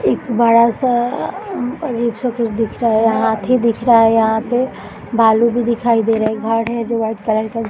एक बड़ा सा अ अभी कुछ दिखा रहा है यहाँ हाथी दिख रहा है यहाँ पे भालू भी दिखाई दे रही एक घर है जो वाइट कलर का --